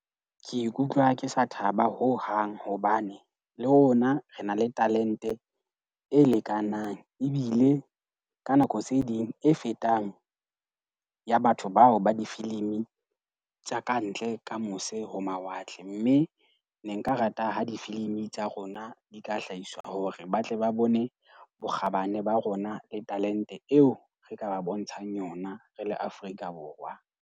Ke ikutlwa ke sa thaba hohang hobane le rona re na le talente e lekanang. Ebile ka nako tse ding e fetang ya batho bao ba difilimi tsa kantle ka mose ho mawatle. Mme ne nka rata ha difilimi tsa rona di ka hlahiswa hore ba tle ba bone bokgabane ba rona le talente eo re ka ba bontshang yona re le Afrika Borwa.